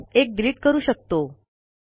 असल्यास एक डिलिट करू शकतो